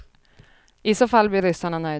I så fall blir ryssarna nöjda.